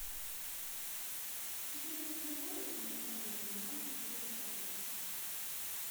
в четырнадцать ноль ноль установи кондер минимальную скорость обдува